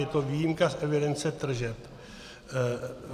Je to výjimka z evidence tržeb.